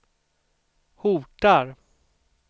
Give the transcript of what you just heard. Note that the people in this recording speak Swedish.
hotar